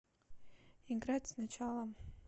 играть сначала